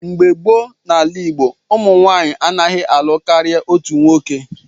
Mgbe gboo n'ala Igbo, ụmụ nwanyị anaghị alụ karịa otu nwoke.